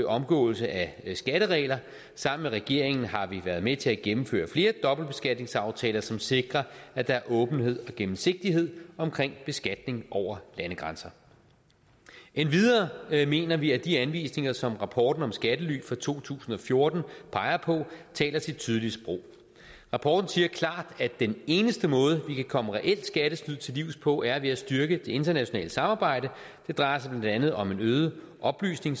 omgåelse af skatteregler sammen med regeringen har vi været med til at gennemføre flere dobbeltbeskatningsaftaler som sikrer at der er åbenhed og gennemsigtighed omkring beskatning over landegrænser endvidere mener vi at de anvisninger som rapporten om skattely fra to tusind og fjorten peger på taler sit tydelige sprog rapporten siger klart at den eneste måde vi kan komme reelt skattely til livs på er ved at styrke det internationale samarbejde det drejer sig blandt andet om øget oplysning